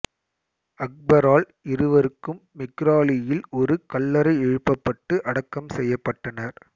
அக்பரால் இருவருக்கும் மெக்ராலியில் ஒரு கல்லறை எழுப்பப்பட்டு அடக்கம் செய்யப்பட்டனர்